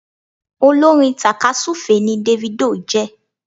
Olórin takasufe ni Davido jé